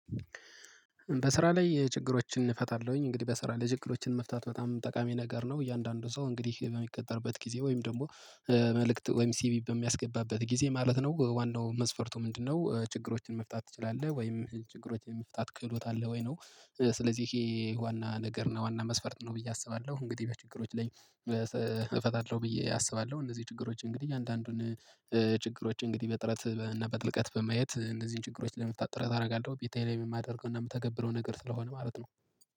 በስራ ላይ ችግሮችን እፈታለሁኝ እንግዲህ በስራ ላይ ችግሮችን መፍታት በጣም ጠቃሚ ነገር ነው። እያንዳንዱ ሰው እንግዲህ በሚቀጠርበት ጊዜ ወይም ደግሞ መልእክት ወይም ሲቪ በሚያስገባበት ጊዜ ማለት ነው ዋናው መስፈርቱ ምንድነው ችግሮችን መፍታት ትችላለህ ወይም ችግሮችን የመፍታት ክህሎት አለህ ወይ ነው? ስለዚህ ይሄ ዋና ነገር ነው ዋና መስፈርት ነው ብዬ አስባለሁ። እንግዲህ በችግሮች ላይ። እፈታለሁ ብዬ አስባለሁ። እነዚህ ችግሮች እንግዲህ አንዳንዱን ችግሮች እንግዲህ በጥረት እና በጥልቀት በማየት እነዚህን ችግሮች ለመፍታት ጥረት አደርጋለሁ። በቴ ላይ የማደርገው እና የምተገብረው ነገር ስለሆነ ማለት ነው